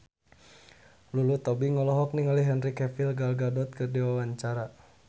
Lulu Tobing olohok ningali Henry Cavill Gal Gadot keur diwawancara